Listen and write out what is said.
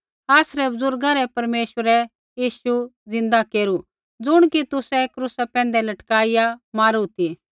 आसरै बुज़ुर्गा रै परमेश्वरै यीशु ज़िन्दा केरू ज़ुण कि तुसै क्रूसा पैंधै लटकाइआ मारू ती